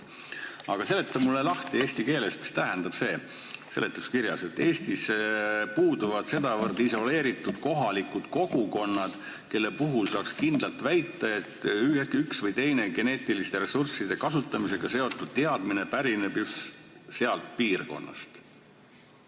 Aga seleta mulle eesti keeles lahti, mida tähendab see seletuskirjas olev lause, et Eestis puuduvad sedavõrd isoleeritud kohalikud kogukonnad, kelle puhul saaks kindlalt väita, et üks või teine geneetiliste ressursside kasutamisega seotud teadmine pärineb just sealt piirkonnast.